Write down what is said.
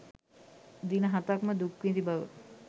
දින හතක්ම දුක් විඳි බව